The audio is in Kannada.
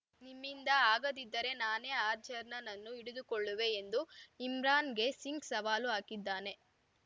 ಮ್ಮಿಂದ ಆಗದಿದ್ದರೆ ನಾನೇ ಅಜರ್‌ನನ್ನು ಹಿಡಿದುಕೊಡುಳ್ಳುವೆ ಎಂದು ಇಮ್ರಾನ್‌ಗೆ ಸಿಂಗ್‌ ಸವಾಲು ಹಾಕಿದ್ದಾನೆ